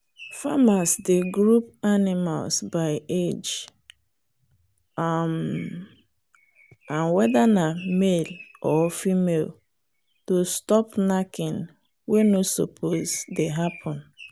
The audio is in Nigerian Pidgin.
farmers dey group animals by age um and whether na male or female to stop knacking wey no suppose dey happen.